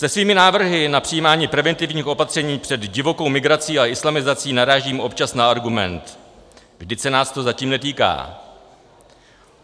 Se svými návrhy na přijímání preventivních opatření před divokou migrací a islamizací narážím občas na argument: vždyť se nás to zatím netýká.